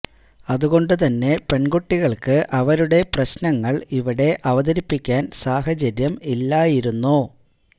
അതുകൊണ്ട് തന്നെ പെണ്കുട്ടികള്ക്ക് അവരുടെ പ്രശ്നങ്ങള് ഇവിടെ അവതരിപ്പിക്കാന് സാഹചര്യം ഇല്ലായിരുന്നു